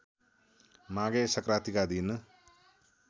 माघे संक्रान्तिका दिन